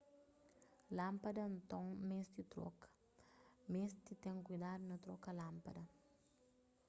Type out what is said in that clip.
lánpada nton meste troka meste ten kuidadu na troka lánpada